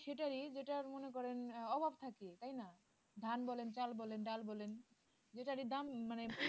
সেটেররি জেটারি যেটা মনে করেন অভাব থাকে তাই না ধান বলেন চাল বলেন ডাল বলেন যেটারই দাম মানে